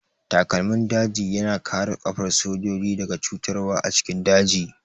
Takalmin daji ya na kare ƙafar sojoji daga cutarwa a cikin daji